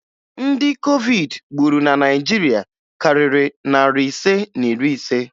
Ndị COVID gburu na Naịjirịa karịrị narị ise na iri ise